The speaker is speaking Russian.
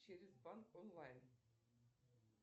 через банк онлайн